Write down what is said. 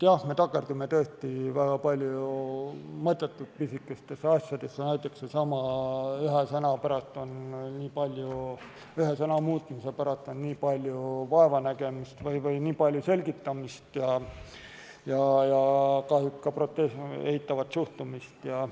Jah, me takerdume tõesti väga palju mõttetult pisikestesse asjadesse, näiteks sellesama ühe sõna muutmise pärast on nii palju vaevanägemist või nii palju selgitamist ja kahjuks on sellesse ka eitavat suhtumist.